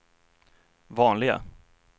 vanliga